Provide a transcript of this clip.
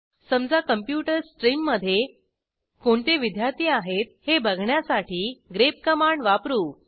समजा कॉम्प्युटर्स स्ट्रीममधे कोणते विद्यार्थी आहेत हे बघण्यासाठी ग्रेप कमांड वापरू